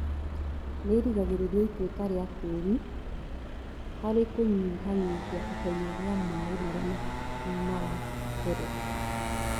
Nĩrigagĩrĩria ituĩka rĩa tĩri harĩ kũnyihanyihia ihenya rĩa maĩ marĩa maratherera